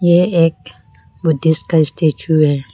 ये एक बुद्धिस्ट का स्टेचू है।